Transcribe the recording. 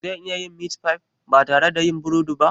Za a iya yin meat pie ba tare da yin burodi ba?